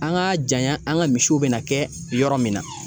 An ka janya ,an ka misiw be na kɛ yɔrɔ min na.